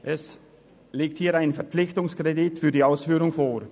Es liegt hier ein Verpflichtungskredit für die Ausführung vor.